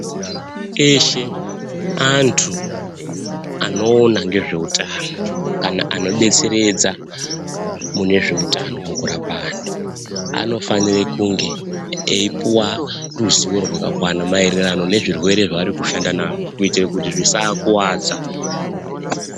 Teshe antu anoona ngezvehutano kana anodetseredza mune zvehutano mukurapa antu anofanira kunge eipuwa ruzivo rakakwana maererano nezvirwere zvavari kushanda nazvo kuitira zvisavakuwadza.